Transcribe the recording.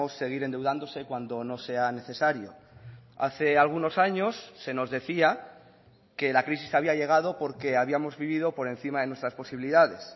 seguir endeudándose cuando no sea necesario hace algunos años se nos decía que la crisis había llegado porque habíamos vivido por encima de nuestras posibilidades